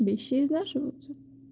вещи изнашиваются